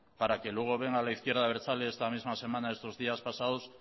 para que luego venga la izquierda abertzale esta misma semana estos días pasados